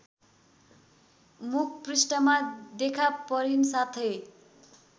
मुखपृष्ठमा देखापरिन् साथै